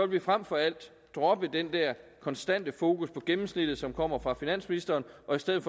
vi frem for alt droppe den der konstante fokus på gennemsnittet som kommer fra finansministeren og i stedet